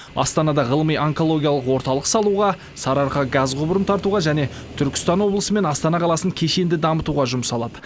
астанада ғылыми онкологиялық орталық салуға сарыарқа газ құбырын тартуға және түркістан облысы мен астана қаласын кешенді дамытуға жұмсалады